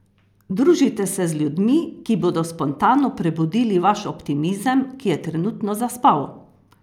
Družite se z ljudmi, ki bodo spontano prebudili vaš optimizem, ki je trenutno zaspal!